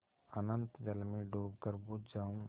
अनंत जल में डूबकर बुझ जाऊँ